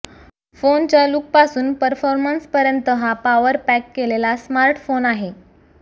फोनच्या लुकपासून परफॉर्मन्स पर्यंत हा पॉवर पॅक केलेला स्मार्टफोन आहे